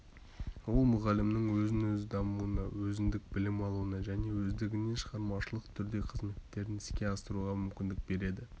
ол мұғалімнің өзін-өзі дамуына өзіндік білім алуына және өздігінен шығармашылық түрде қызметтерін іске асыруға мүмкіндік береді